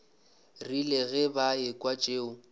rile ge ba ekwa tšeo